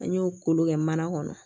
An y'o kolon kɛ mana kɔnɔ